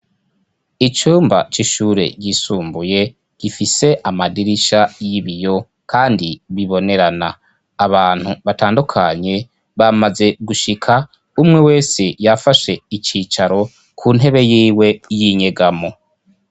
Icyumba cy'ishure yisumbuye gifise amadirisha y'ibiyo kandi bibonerana .Abantu batandukanye bamaze gushika umwe wese yafashe icicaro ku ntebe y'iwe y'inyegamo.